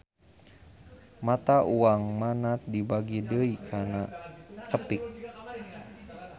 Mata uang Manat dibagi deui kana qepik